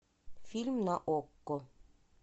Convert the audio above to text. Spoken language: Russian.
фильм на окко